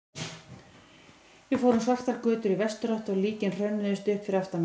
Við fórum svartar götur í vesturátt og líkin hrönnuðust upp fyrir aftan mig.